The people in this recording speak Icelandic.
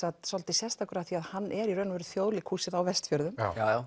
svolítið sérstakur af því hann er í raun og veru Þjóðleikhúsið á Vestfjörðum já